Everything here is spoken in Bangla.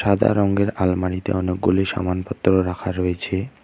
সাদা রঙের আলমারিতে অনেকগুলি সামানপত্র রাখা রয়েছে।